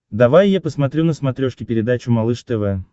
давай я посмотрю на смотрешке передачу малыш тв